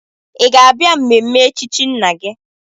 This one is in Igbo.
Ị ga-abịa mmemme echichi nna gị?